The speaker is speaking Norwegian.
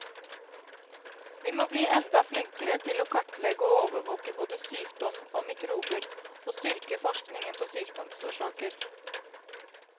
Vi må bli enda flinkere til å kartlegge og overvåke både sykdom og mikrober, og styrke forskningen på sykdomsårsaker.